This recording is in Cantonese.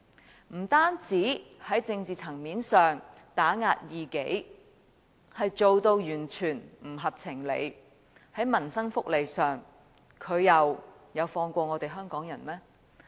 他不單在政治層面上打壓異己，做法完全不合情理，而在民生福利上，他又有放過我們香港人嗎？